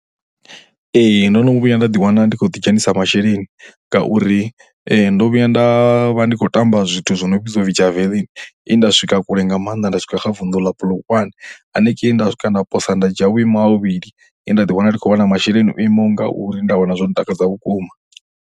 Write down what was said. Ee, ndo no vhuya nda ḓiwana ndi khou ḓidzhenisa masheleni ngauri ndo vhuya nda vha ndi khou tamba zwithu zwi no vhidzwa u pfhi Javelin he nda swika kule nga maanḓa nda swika kha vunḓu ḽa Polokwane. Hanengei nda swika nda posa nda dzhia vhuimo ha vhuvhili he nda ḓiwana ndi khou wana masheleni o imaho nga uri, nda wana zwo ntakadza vhukuma.